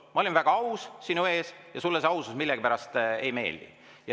Ma olin väga aus sinu ees ja sulle see ausus millegipärast ei meeldi.